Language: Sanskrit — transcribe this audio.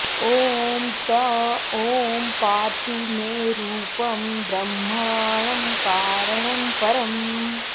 ॐ त ॐ पातु मे रूपं ब्रह्माणं कारणं परम्